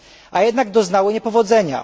ONZ, a jednak doznały niepowodzenia.